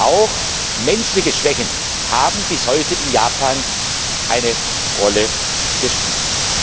Auch menschliche Schwächen haben bis heute in Japan eine Rolle gespielt.